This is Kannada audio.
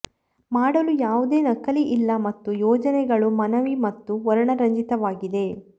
ಮಾಡಲು ಯಾವುದೇ ನಕಲಿ ಇಲ್ಲ ಮತ್ತು ಯೋಜನೆಗಳು ಮನವಿ ಮತ್ತು ವರ್ಣರಂಜಿತವಾಗಿದೆ